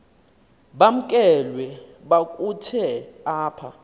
bamkelwe kakuhte apha